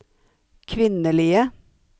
kvinnelige